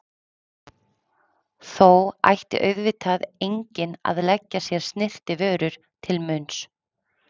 Þó ætti auðvitað enginn að leggja sér snyrtivörur til munns.